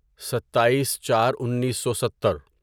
ستائیس چار اینسو ستر